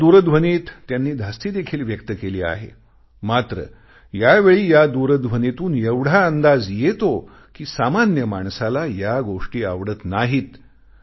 या दूरध्वनीत त्यांनी धास्तीदेखील व्यक्त केली आहे मात्र यावेळी या दूरध्वनीतून एवढा अंदाज येतो कि सामान्य माणसाला या गोष्टी आवडत नाहीत